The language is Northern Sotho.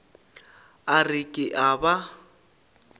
a re ke a ba